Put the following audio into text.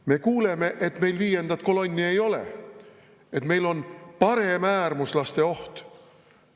Me kuuleme, et meil viiendat kolonni ei ole, et meil on paremäärmuslaste oht.